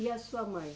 E a sua mãe?